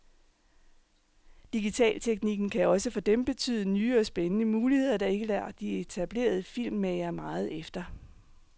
Digitalteknikken kan også for dem betyde nye og spændende muligheder, der ikke lader de etablerede filmmagere meget efter.